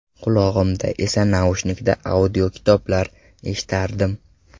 Qulog‘imda esa naushnikda audiokitoblar eshitardim.